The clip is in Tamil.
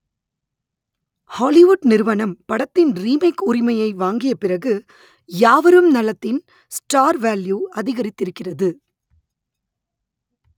ஹாலிவுட் நிறுவனம் படத்தின் ‌ரீமேக் உ‌ரிமையை வாங்கிய பிறகு யாவரும் நலத்தின் ஸ்டார் வேல்யூ அதிக‌ரித்திருக்கிறது